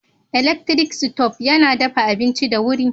Elaktirik sitob yana dafa abinci da wuri.